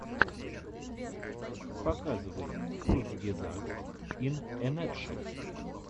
показывай курцгезагт ин э натшел